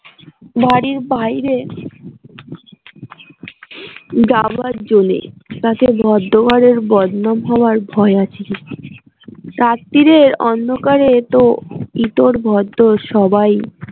বাড়ির বাইরে যাবার জো নেই তাতে ভদ্র ঘরের বদনাম হবার ভয় আছে রাত্তিরের অন্ধকারে তো ইতর ভদ্দর সবাই